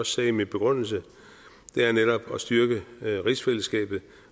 sagde i min begrundelse netop at styrke rigsfællesskabet